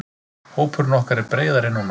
Hópurinn okkar er breiðari núna.